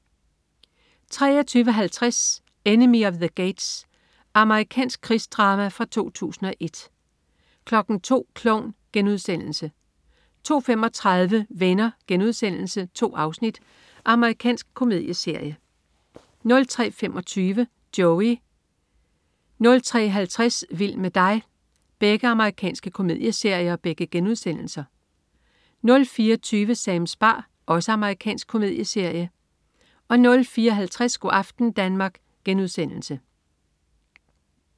23.50 Enemy at the Gates. Amerikansk krigsdrama fra 2001 02.00 Klovn* 02.35 Venner.* 2 afsnit. Amerikansk komedieserie 03.25 Joey.* Amerikansk komedieserie 03.50 Vild med dig.* Amerikansk komedieserie 04.20 Sams bar. Amerikansk komedieserie 04.50 Go' aften Danmark*